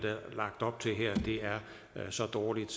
lagt op til her er så dårligt